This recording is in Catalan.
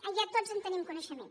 ja tots en tenim coneixement